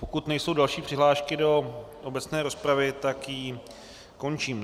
Pokud nejsou další přihlášky do obecné rozpravy, tak ji končím.